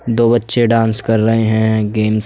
दो बच्चे डांस कर रहे हैं। गेम्स --